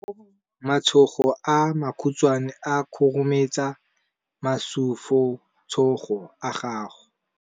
Matsogo a makhutshwane a khurumetsa masufutsogo a gago.